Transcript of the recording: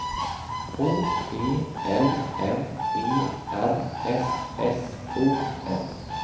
H E L M E R S S O N